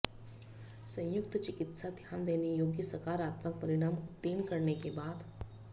संयुक्त चिकित्सा ध्यान देने योग्य सकारात्मक परिणाम उत्तीर्ण करने के बाद